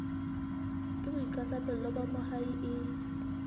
ke boikarabelo ba moahi e